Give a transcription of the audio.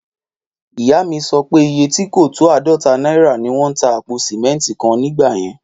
Ìyá mi sọ pé iye tí kò tó áàdọ́ta náírà ni wón ń ta àpò sìmẹ́ntì kan ní ìgbà yẹn